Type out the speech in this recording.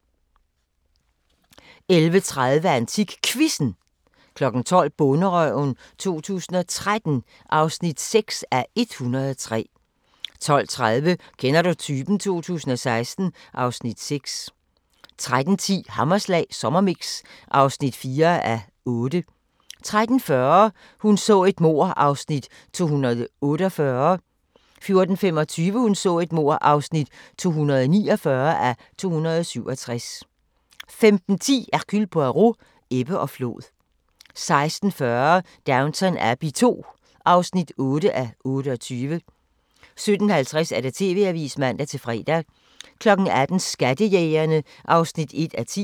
11:30: AntikQuizzen 12:00: Bonderøven 2013 (6:103) 12:30: Kender du typen? 2016 (Afs. 6) 13:10: Hammerslag Sommermix (4:8) 13:40: Hun så et mord (248:267) 14:25: Hun så et mord (249:267) 15:10: Hercule Poirot: Ebbe og flod 16:40: Downton Abbey II (8:28) 17:50: TV-avisen (man-fre) 18:00: Skattejægerne (1:10)